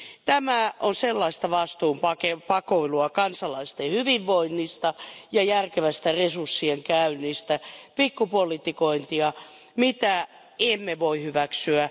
Tämä on sellaista vastuun pakoilua kansalaisten hyvinvoinnista ja järkevästä resurssien käytöstä, pikkupolitikointia, mitä emme voi hyväksyä.